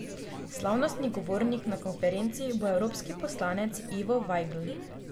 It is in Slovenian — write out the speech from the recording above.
Slavnostni govornik na konferenci bo evropski poslanec Ivo Vajgl.